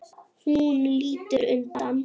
Hún lítur undan.